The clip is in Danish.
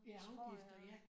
Ja afgifter ja